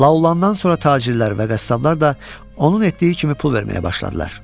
La olandan sonra tacirlər və qəssablar da onun etdiyi kimi pul verməyə başladılar.